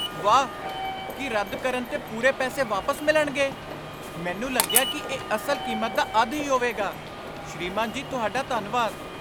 ਵਾਹ! ਕੀ ਰੱਦ ਕਰਨ 'ਤੇ ਪੂਰੇ ਪੈਸੇ ਵਾਪਸ ਮਿਲਣਗੇ, ਮੈਨੂੰ ਲੱਗਿਆ ਕਿ ਇਹ ਅਸਲ ਕੀਮਤ ਦਾ ਅੱਧ ਹੀ ਹੋਵੇਗਾ। ਸ੍ਰੀਮਾਨ ਜੀ ਤੁਹਾਡਾ ਧੰਨਵਾਦ।